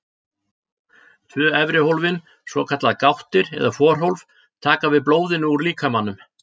Tvö efri hólfin, svokallaðar gáttir eða forhólf, taka við blóðinu úr líkamanum.